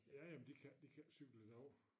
Ja ja men de kan de kan ikke cykle derovre